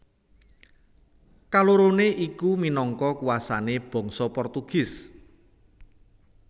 Kalorone iku minangka kuasané bangsa Portugis